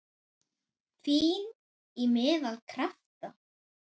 Fín- Í meðal- Krafta